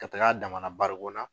Ka taga a dama na barigon na.